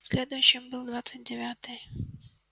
следующим был двадцать девятый